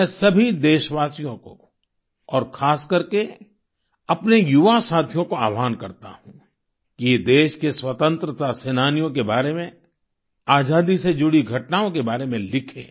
मैं सभी देशवासियों को और खासकर के अपने युवा साथियों को आह्वान करता हूं कि वे देश के स्वतंत्रता सेनानियों के बारे में आजादी से जुड़ी घटनाओं के बारे में लिखें